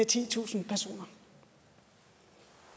titusind personer